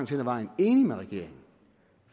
til vedvarende energi